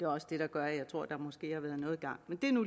også det der gør at jeg tror der måske har været noget i gang men det er nu